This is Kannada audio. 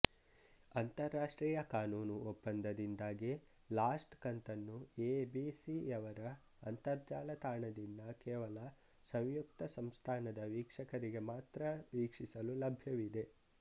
ಅಂತರರಾಷ್ಟ್ರೀಯ ಕಾನೂನು ಒಪ್ಪಂದದಿಂದಾಗಿ ಲಾಸ್ಟ್ ಕಂತನ್ನು ಎಬಿಸಿಯವರ ಅಂತರ್ಜಾಲ ತಾಣದಿಂದ ಕೇವಲ ಸಂಯುಕ್ತ ಸಂಸ್ಥಾನದ ವೀಕ್ಷಕರಿಗೆ ಮಾತ್ರ ವೀಕ್ಷಿಸಲು ಲಭ್ಯವಿದೆ